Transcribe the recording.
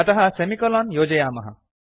अतः सेमिकोलोन् योजयामः